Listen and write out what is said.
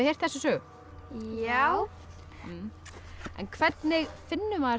heyrt þessa sögu já en hvernig finnur maður